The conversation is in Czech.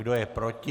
Kdo je proti?